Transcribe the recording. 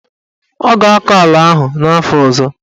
Ọ ga-akọ ala ahụ n'afọ ọzọ.